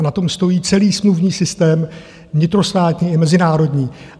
A na tom stojí celý smluvní systém vnitrostátní i mezinárodní.